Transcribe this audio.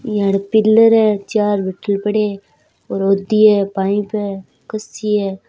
यहां पिल्लर है चार बोतल पड़े है और दिये है पाईप है कसी है।